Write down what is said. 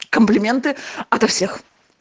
комплименты ото всех